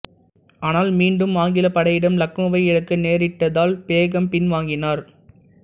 ஆனால் மீண்டும் ஆங்கிலப் படையிடம் லக்னோவை இழக்க நேரிட்டதால் பேகம் பின்வாங்கினார்